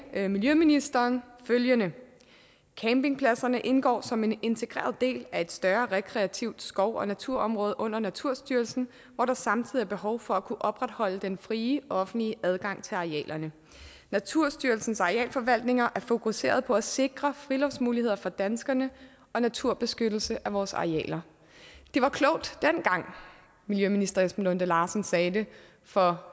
sagde miljøministeren følgende campingpladserne indgår alle som en integreret del af et større rekreativt skov og naturområde under naturstyrelsen hvor der samtidig er behov for at kunne opretholde den frie offentlige adgang til arealerne naturstyrelsens arealforvaltninger er fokuseret på at sikre friluftsmuligheder for danskerne og naturbeskyttelse af vores arealer det var klogt dengang miljøminister esben lunde larsen sagde det for